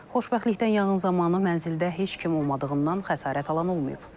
Xoşbəxtlikdən yanğın zamanı mənzildə heç kim olmadığından xəsarət alan olmayıb.